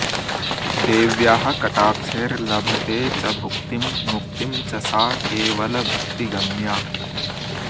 देव्याः कटाक्षैर्लभते च भुक्तिं मुक्तिं च सा केवलभक्तिगम्या